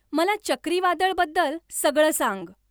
मला चक्रीवादळबद्दल सगळं सांग